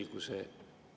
Lugupeetud minister!